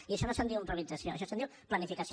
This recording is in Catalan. i això no se’n diu improvisació això se’n diu planificació